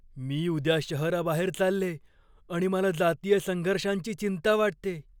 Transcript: मी उद्या शहराबाहेर चालले आणि मला जातीय संघर्षांची चिंता वाटतेय.